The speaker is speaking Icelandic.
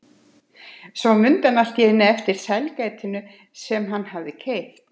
Svo mundi hann allt í einu eftir sælgætinu sem hann hafði keypt.